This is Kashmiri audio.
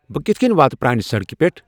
بہٕ کِتھٕ کٔنۍ واتہٕ پرٛانہِ سڑکہِ پٮ۪ٹھ